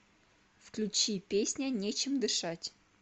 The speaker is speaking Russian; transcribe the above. включи песня нечем дышать